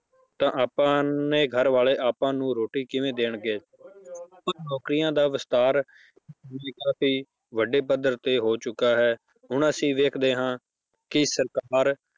ਤਾਂ ਆਪਣੇ ਘਰ ਵਾਲੇ ਆਪਾਂ ਨੂੰ ਰੋਟੀ ਕਿਵੇਂ ਦੇਣਗੇ ਸੋ ਨੌਕਰੀਆਂ ਦਾ ਵਿਸਥਾਰ ਕਾਫ਼ੀ ਵੱਡੇ ਪੱਧਰ ਤੇ ਹੋ ਚੁੱਕਾ ਹੈ ਹੁਣ ਅਸੀਂ ਵੇਖਦੇ ਹਾਂ ਕਿ ਸਰਕਾਰ